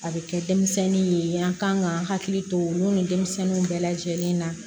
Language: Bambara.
A bɛ kɛ denmisɛnnin ye an ka kan ka hakili to olu ni denmisɛnnu bɛɛ lajɛlen na